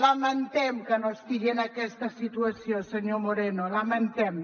lamentem que no estigui en aquesta situació senyor moreno ho lamentem